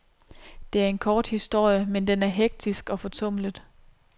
Det er en kort historie, men den er hektisk og fortumlet.